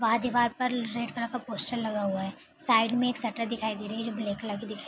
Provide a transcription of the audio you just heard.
बाहर दिवार pearl red colour का पोस्टर लगा हुआ है। साइड में एक शटर दिखाई दे रही है जो ब्लैक कलर की दिखाई --